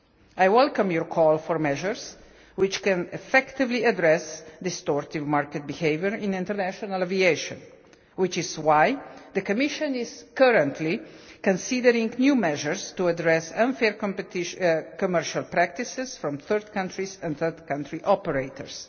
I welcome the call for measures which can effectively address distortive market behaviour in international aviation, which is why the Commission is currently considering new measures to address unfair commercial practices from third countries and third country operators.